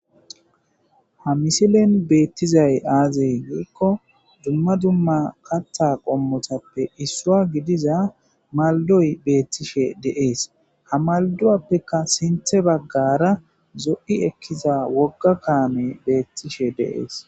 Ha misilen beetizay aaze gizaysa gidiko dumma dumma kaththa qommotappe issuwa gidiza maldoy beeteshe de'ees Ha malduwappe sintha baggara issi zo'o kaamey beetishe de'ees.